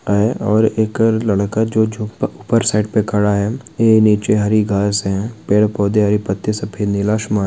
--है और एक लड़का जो झुक ऊपर साइड पे खड़ा है और ये निचे हरी घास हैं पेड़-पौधे हरे पत्ते सफ़ेद नीला आसमान।